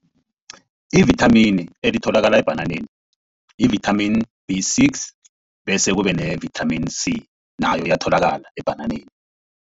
Ivithamini elitholakala ebhananeni yi-vitamin B six, bese kube ne-vitamin C nayo iyatholakala ebhananeni.